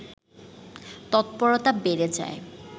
তৎপরতা বেড়ে যায়